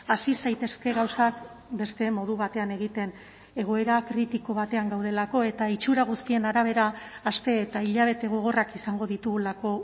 hasi zaitezke gauzak beste modu batean egiten egoera kritiko batean gaudelako eta itxura guztien arabera aste eta hilabete gogorrak izango ditugulako